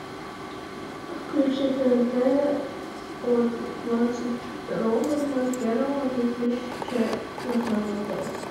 включи тнт от двадцать второго ноль первого две тысячи двадцатого года